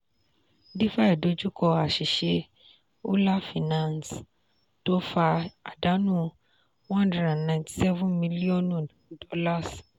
"defi" dojú kọ àṣìṣe "euler finance" tó fa àdánù one hundred and ninety seven million